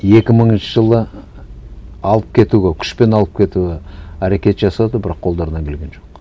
екі мыңыншы жылы алып кетуге күшпен алып кетуге әрекет жасады бірақ қолдарынан келген жоқ